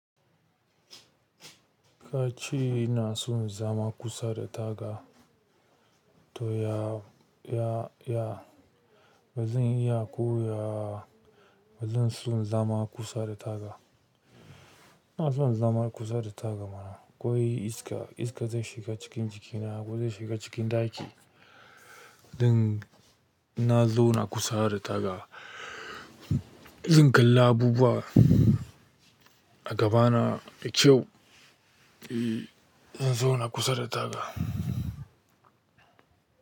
Kace ina son zama kusa da taga, to ya ya bazan iya koyawa ba zan so zama kusa da taga. Ba zan zama kusa da taga ba ko iska, iska zai shiga cikin jikina ko zai shiga cikin ɗaki. Ɗin na zauna kusa da taga. In kalla abubuwa a gabana da kyau, eh in zauna kusa da taga.